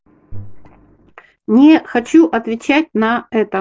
не хочу отвечать на это